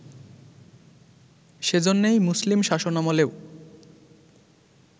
সে জন্যেই মুসলিম শাসনামলেও